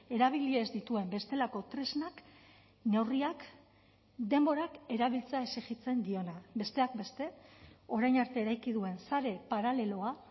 erabili ez dituen bestelako tresnak neurriak denborak erabiltzea exijitzen diona besteak beste orain arte eraiki duen sare paraleloa